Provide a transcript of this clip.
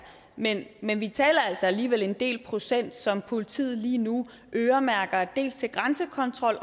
men men vi taler altså alligevel om en del procent som politiet lige nu øremærker til grænsekontrol